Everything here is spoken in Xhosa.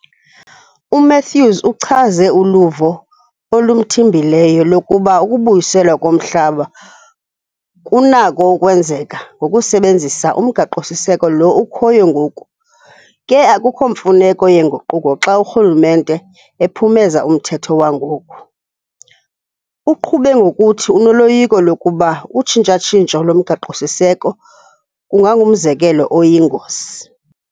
UMathews uchaze uluvo olumthimbileyo lokuba ukubuyiselwa komhlaba kunako ukwenzeka ngokusebenzisa uMgaqo-siseko lo ukhoyo ngoku ke akukho mfuneko yeenguquko xa urhulumente ephumeza umthetho wangoku. Uqhube ngokuthi unoloyiko lokuba utshintsha-ntshintsho loMgaqo-siseko kungangumzekelo oyingozi.